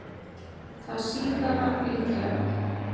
Það síðara líklegra.